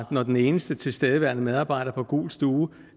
når den eneste tilstedeværende medarbejder på gul stue